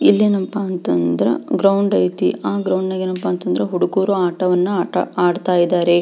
ಇಲ್ಲಿ ಏನಪ್ಪಾ ಅಂತ ಅಂದ್ರೆ ಗ್ರೌಂಡ್ ಅಯ್ತ್ನಿ ಆ ಗ್ರೌಂಡನಲ್ಲಿ ಏನಪ್ಪಾ ಅಂದ್ರೆ ಹುಡುಗ್ರುಗಳು ಆಟವನ್ನು ಆಡತ ಇದ್ದಾರೆ.